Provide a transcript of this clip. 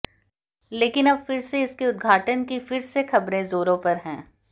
लेकिन अब फिर से इसके उद्घाटन की फिर से ख़बरें जोरों पर हैं